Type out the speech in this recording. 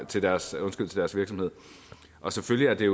til deres deres virksomhed selvfølgelig er det